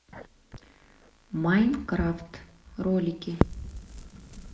майнкрафт ролики